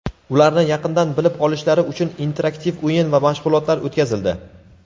ularni yaqindan bilib olishilari uchun interaktiv o‘yin va mashg‘ulotlar o‘tkazildi.